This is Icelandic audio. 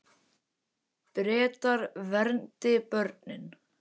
Bretar verndi börnin